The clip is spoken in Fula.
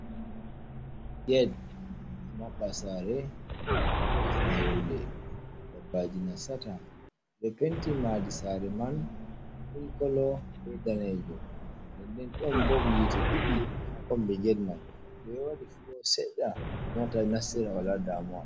Get maɓɓa sare, ɗo wo'itina yonde, dabbaji nasata, penti maadi sare man milik kolo bei danejum nden den ɗon bop hite ɗidi ha kombi get mai ɓe waɗi fulo seɗɗa mota nassira wala damuwa.